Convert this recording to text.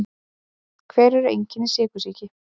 Hver eru einkenni sykursýki?